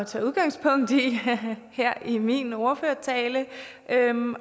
tage udgangspunkt i her i min ordførertale